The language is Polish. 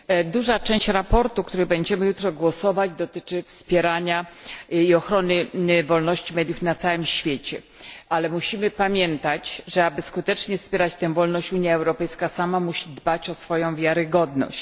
Duża część sprawozdania, nad którym będziemy jutro głosować, dotyczy wspierania i ochrony wolności mediów na całym świecie, ale musimy pamiętać, że aby skutecznie wspierać tę wolność, Unia Europejska sama musi dbać o swoją wiarygodność.